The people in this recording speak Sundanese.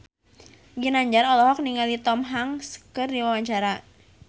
Ginanjar olohok ningali Tom Hanks keur diwawancara